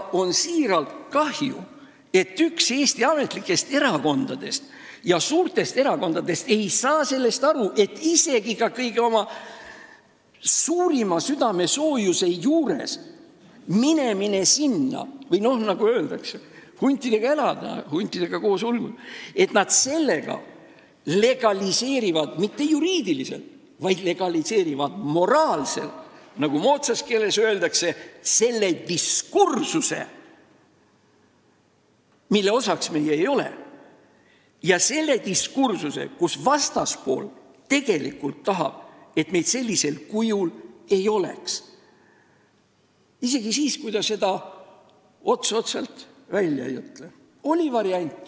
Mul on siiralt kahju, et üks Eesti ametlikest ja suurtest erakondadest ei saa aru sellest, et isegi kui nad oma suurima südamesoojusega sinna lähevad või, nagu öeldakse, huntidega koos elavad ja uluvad, siis nad legaliseerivad sellega mitte juriidiliselt, vaid moraalselt, nagu moodsas keeles öeldakse, diskursuse, mille osaks meie ei ole – selle diskursuse, kus vastaspool tegelikult tahab, et meid sellisel kujul ei oleks, isegi kui ta seda otse välja ei ütle.